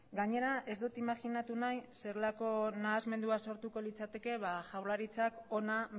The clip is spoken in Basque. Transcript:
gainera ez dut imajinatu nahi zelako nahasmena sortuko litzateke jaurlaritzak hona